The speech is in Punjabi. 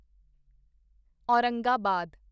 ਔਰੰਗਾਬਾਦ